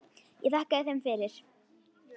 Ég þakkaði þeim fyrir.